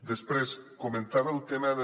després comentava el tema del